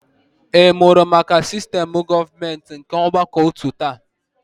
Ị mụrụ maka sistem ọchịchị gọọmenti nke ọgbakọotu taata?